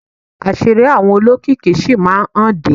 Àṣírí àwọn olókìkí sì máa hànde.